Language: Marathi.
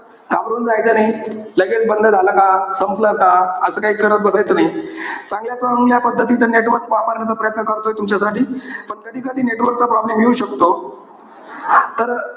घाबरून जायचं नाही. लगेच बंद झाला का? संपलं का? असं काही करत बसायचं नाही. चांगल्या पद्धतीचं network वापरण्याचा प्रयत्न करतोय तुमच्यासाठी. पण कधी-कधी network चा problem येऊ शकतो. तर,